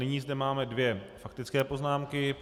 Nyní zde máme dvě faktické poznámky.